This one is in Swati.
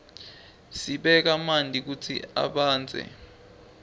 sibeka manti kutsi abandze